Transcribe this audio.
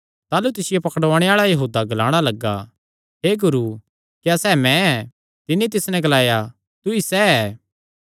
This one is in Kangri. ताह़लू तिसियो पकड़ुआणे आल़ा यहूदा ग्लाणा लग्गा हे गुरू क्या सैह़ मैं ऐ तिन्नी तिस नैं ग्लाया तूईं सैह़ ऐ